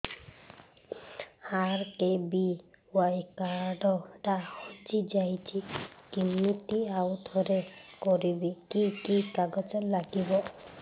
RKBY card ଟା ହଜିଯାଇଛି କିମିତି ଆଉଥରେ କରିବି କି କି କାଗଜ ଲାଗିବ